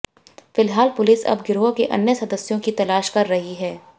फिलहाल पुलिस अब गिरोह के अन्य सदस्यों की तलाश कर रही है